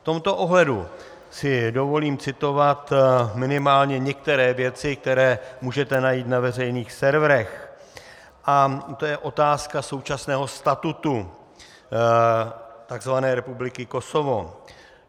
V tomto ohledu si dovolím citovat minimálně některé věci, které můžete najít na veřejných serverech, a to je otázka současného statutu takzvané Republiky Kosovo.